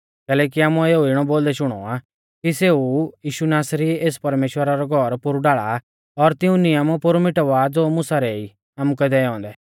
कैलैकि आमुऐ एऊ इणौ बोलदै शुणौ आ कि सेऊ ऊ यीशु नासरी एस परमेश्‍वरा रौ घौर पोरु ढाल़ा आ और तिऊं नियम पोरु मिटावा ज़ो मुसा रै ई आमुकै दैऔ औन्दै